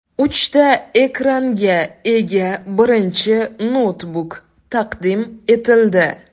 Uchta ekranga ega birinchi noutbuk taqdim etildi .